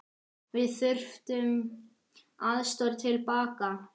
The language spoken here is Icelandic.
Við þurftum aðstoð til baka.